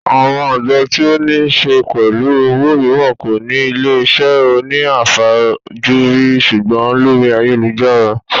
Àwọn àjọ tí ó ní se pẹ̀lú owó mìíràn kò ní ilé iṣẹ́ òní àfajúrí sùgbọ́n lórí ayélujára